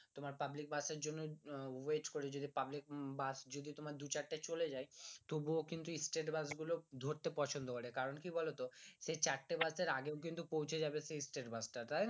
তোমার public bus এর জন্যে wait করে যদি পাবলিক বাস যদি তোমার দু চারটে চলে যাই তবু কিন্তু state বাস গুলো ধরতে পছন্দ করে কারণ কি বলতো সে চারটে বাসের আগেও কিন্তু পৌঁছে যাবে সেই state বাস টা তাইনা